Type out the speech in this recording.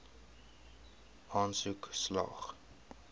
aansoek slaag